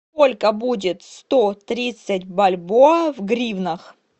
сколько будет сто тридцать бальбоа в гривнах